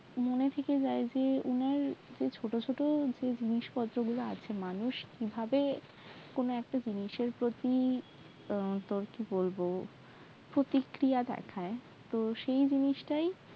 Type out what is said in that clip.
মনে থেকে যায় যে ওনার যে ছোট ছোট জিনিসপত্র গুলো আছে মানুষ কিভাবে কোনও একটা জিনিসের প্রতি প্রতিক্রিয়া দেখায় তো সেই জিনিস টাই